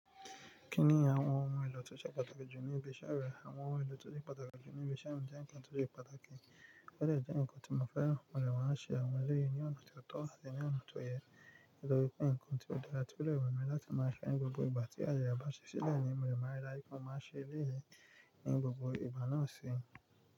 Kí ni àwọn ohun èlò tó ṣe pàtàkì jù níbi iṣẹ́ rẹ, àwọn ohun èlò tó ṣe pàtàkì jù níbi iṣẹ́ mi jẹ́ ǹkan tó ṣe pàtàkì, ó de jẹ́ ǹkan tí mo fẹ́ mọ̀lẹ́ wọn a ṣe àwọn eré ní ọ̀nà tó tọ́ àti ní ọ̀nà tó yẹ, nítorí pé ǹkan tí ó dára pẹ̀lú èwe mi láti máa ṣe ní gbogbo ìgbà tí a yẹ àbáṣẹ́ sílẹ̀ ni mọ̀lẹ́ wọn rí láìpẹ́, mo máa ṣe eré ní gbogbo ìgbà náà si.